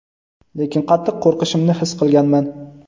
lekin qattiq qo‘rqishimni his qilganman.